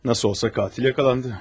Necə olsa qatil yaxalandı.